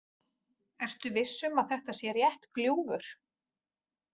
Ertu viss um að þetta sé rétt gljúfur?